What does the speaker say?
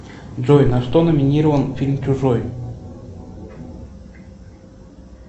джой на что номинирован фильм чужой